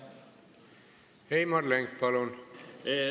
Heimar Lenk, palun!